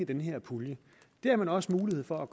den her pulje det har man også mulighed for